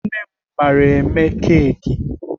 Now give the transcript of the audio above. Nne m mara eme keki.